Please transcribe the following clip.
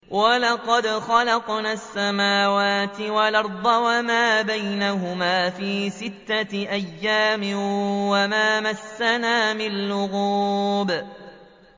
وَلَقَدْ خَلَقْنَا السَّمَاوَاتِ وَالْأَرْضَ وَمَا بَيْنَهُمَا فِي سِتَّةِ أَيَّامٍ وَمَا مَسَّنَا مِن لُّغُوبٍ